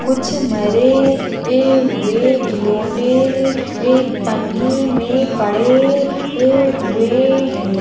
कुछ मरे ए हुए गीलोंडे एक पन्नी मे पड़े है हुए है।